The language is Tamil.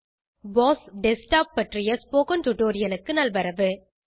போஸ் டெஸ்க்டாப் பற்றிய ஸ்போகன் டுடோரியலுக்கு நல் வரவு